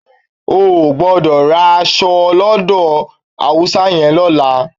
O ò gbọ́dọ̀ ra èso lọ́dọ̀ Haúsá yẹn lọ́la.